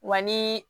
Wa ni